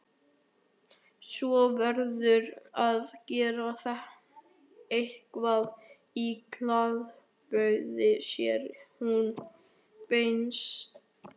Svo verðurðu að gera eitthvað í klæðaburðinum, segir hún pinnstíf.